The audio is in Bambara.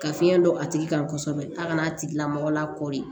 Ka fiɲɛ don a tigi kan kosɛbɛ a ka n'a tigilamɔgɔ la kɔɔri